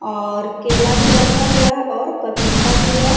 और केला भी रखा हुआ है और पपीता भी है।